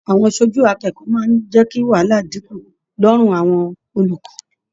Àwọn aṣojú akẹ́kọ̀ọ́ máa n jẹ kí wàhálà dínkù lọrùn àwọn olùkọ.